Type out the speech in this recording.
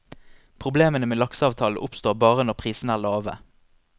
Problemene med lakseavtalen oppstår bare når prisene er lave.